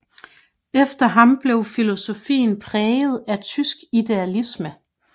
Efter ham blev filosofien præget af tysk idealisme